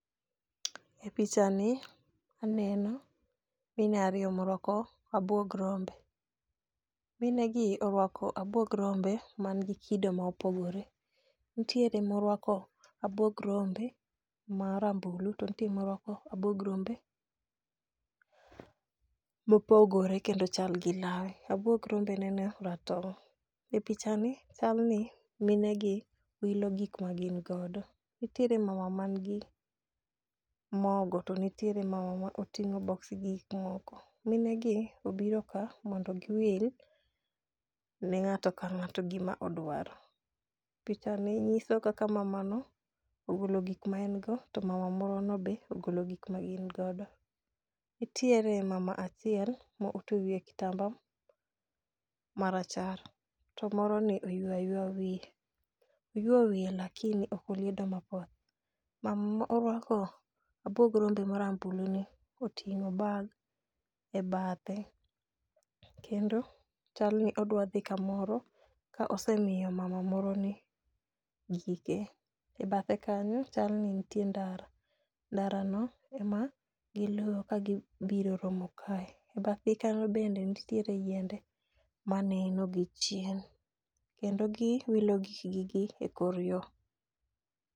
E picha ni aneno mine ariyo morwako abuog rombe .Mine gi orwako abuog rombe man gi kido ma opogore. Ntiere ma orwako abuog rombe marambulu to ntie morwako abuog rombe mopogore kendo chal gi nanga, abuog rombe neno ratong' .E picha ni chal ni mine gi wilo gik ma gin godo nitiere mama man gi mogo to nitiere mama ma oting'o boksi gi gik moko. Mine go obiro ka mondo giwil ne ng'ato ka ng'ato gima odwaro . Picha ni nyiso kaka mama no ogolo gik ma en go to mama moro no be ogolo gik ma gin godo. Nitiere mama achiel mo otwe wiye kitamba marachar to moro ni oyuo ayuoya wiye, oyuo wiye lakini ok oliedo mapoth .Mama morwako abuog rombo marambulu ni oting'o bag e bathe kendo chal ni odwa dhi kamoro ka osemiyo mama moro ni gike .E bathe kanyo chal ni ntie ndara, ndara no ema giluwo ka gibiro romo kae. E bathgi kanyo bende nitiere yiende maneno gi chien kendo gi wilo gik gi gi e kor yoo.